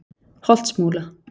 Holtsmúla